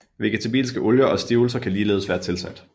Vegetabilske olier og stivelse kan ligeledes være tilsat